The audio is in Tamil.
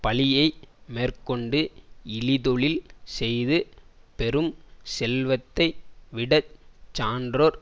பழியை மேற்கொண்டு இழிதொழில் செய்து பெறும் செல்வத்தை விட சான்றோர்